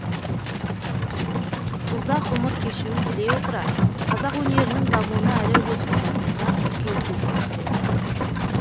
ұзақ ғұмыр кешуін тілей отыра қазақ өнерінің дамуына әлі үлес қосатынына үлкен сенім білдереміз